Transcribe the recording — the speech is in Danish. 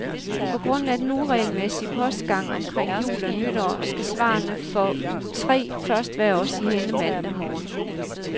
På grund af den uregelmæssige postgang omkring jul og nytår skal svarene for uge tre først være os i hænde mandag morgen.